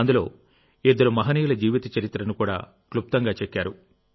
అందులో ఇద్దరు మహానీయుల జీవిత చరిత్రను కూడా క్లుప్తంగా చెక్కారు